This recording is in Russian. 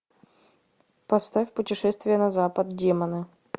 поставь путешествие на запад демоны